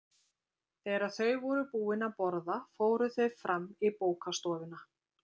Þegar þau voru búin að borða fóru þau fram í bókastofuna.